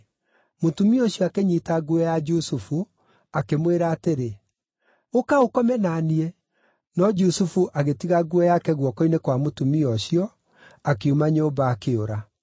Mũtumia ũcio akĩnyiita nguo ya Jusufu, akĩmwĩra atĩrĩ, “Ũka ũkome na niĩ!” No Jusufu agĩtiga nguo yake guoko-inĩ kwa mũtumia ũcio, akiuma nyũmba akĩũra.